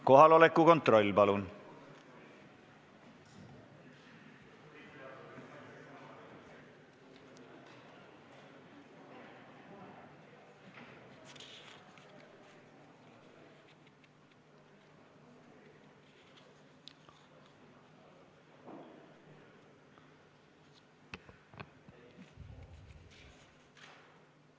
Kohaloleku kontroll, palun!